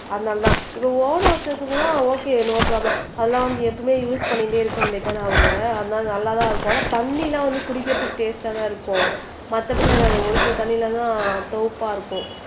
அதனாலதான் இப்போ own house எல்லாம் ஓகே நோ ப்ராப்ளம் அதெல்லாம் எப்பவுமே வந்துட்டு யூஸ் பண்ணிக்கிட்டே இருக்க முடியும் தானே அவங்க அதனால நல்லா தான் இருக்கும் ஆனா தண்ணிலாம் குடிக்கிறதுக்கு டேஸ்டா தான் இருக்கும் மத்தபடி எல்லாம் என்னது ஒரு சில தண்ணீர் எல்லாம் சிவப்பா இருக்கும்